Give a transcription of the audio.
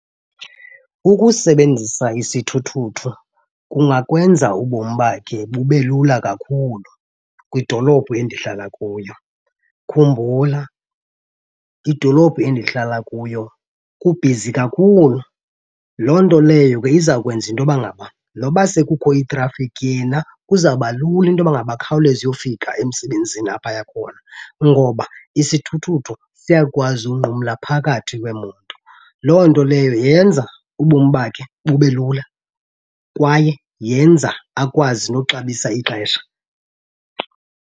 Ukusebenzisa isithuthuthu kungakwenza ubom bakhe bube lula kakhulu kwidolophu endihlala kuyo. Khumbula idolophu endihlala kuyo kubhizi kakhulu, loo nto leyo ke izawukwenza into yoba ngaba noba sekukho itrafikhi yena kuzawuba lula into yoba ngaba akhawuleze uyofika emsebenzini apho aya khona. Ngoba isithuthuthu siyakwazi unqumla phakathi kweemoto, loo nto leyo yenza ubom bakhe bube lula kwaye yenza akwazi noxabisa ixesha.